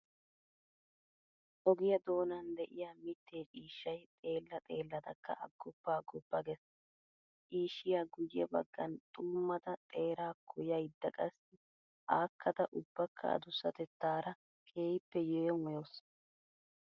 Ogiyaa doonan de'iyaa mittee ciishshay xeellaa xeelladakka aggoppa aggoppa gees. Ciishshiyaa guyye baggaan xuummada xeeraakko yayda qassi aakkada ubbakka adussatettaara keehiippe yeemoyawusu.